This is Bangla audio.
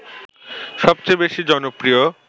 সবচেয়ে বেশি জনপ্রিয়